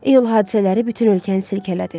İyul hadisələri bütün ölkəni silkələdi.